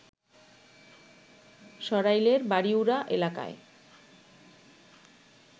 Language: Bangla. সরাইলের বাড়িউড়া এলাকায়